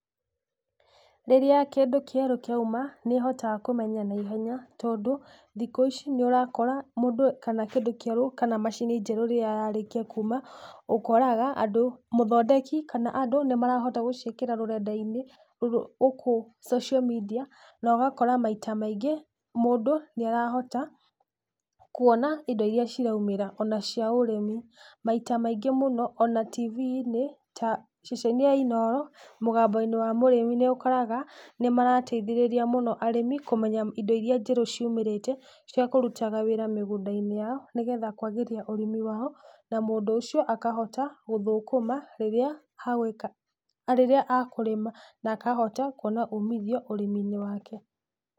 Rĩrĩa kĩndũ kĩerũ kĩauma ,nĩ hotaga kũmenya na ihenya tondũ thikũ ici nĩ ũrakora mũndũ kana kĩndũ kĩerũ kana macini njerũ rĩrĩa yarĩkia kuma. Ũkoraga mũthondeki kana andũ nĩ marahota gũciĩkĩra rũrenda-inĩ gũkũ social media na ũgakora maita maingĩ mũndũ nĩ arahota kuona indo iria ciraumĩra ona cia ũrĩmi. Maita maingĩ mũno ona Tv-inĩ ta ceceni ya Inooro mũgambo-inĩ wa mũrĩmi, nĩ ũkoraga nĩ marateithĩrĩria mũno arĩmi kũmenya indo iria njerũ ciumĩrĩte ciakũrutaga wĩra mĩgũnda-inĩ yao nĩ getha kwagĩria ũrĩmi wao. Na mũndũ ũcio akahota gũthũkũma rĩrĩa akũrĩma na akoha kuona umithio ũrĩmi-inĩ wake.